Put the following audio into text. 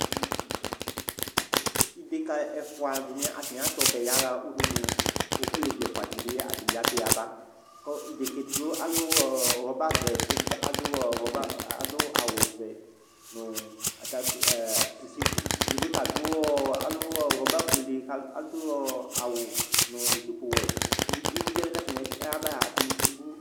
Idekǝ ɛfʋa dɩ atanɩ atʋ ɔbɛ yaɣa udunu kʋ alevi ɛfʋa dɩ bɩ atanɩ atʋ yaba Kʋ idekǝ edigbo alʋ ɔ rɔbavɛ kʋ edigbo adʋ rɔba ɔ awʋvɛ nʋ atakpui ɛ ziu, edigbo ta adʋ ɔ alʋ rɔbafuele kʋ adʋ ɔ awʋ nʋ zipuwɛ kʋ edigbo uluvi wanɩ kʋ atanɩ yaba a, atanɩ edigbo